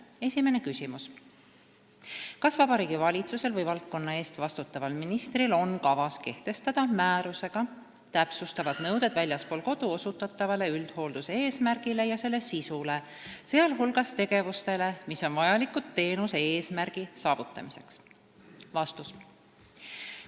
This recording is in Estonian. Esimene küsimus: "Kas Vabariigi Valitsusel või valdkonna eest vastutaval ministril on kavas kehtestada määrusega täpsustavad nõuded väljaspool kodu osutatavale üldhoolduse eesmärgile ja selle sisule, sealhulgas tegevustele, mis on vajalikud teenuse eesmärgi saavutamiseks?